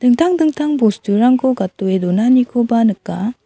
dingtang dingtang bosturangko gatdoe donanikoba nika.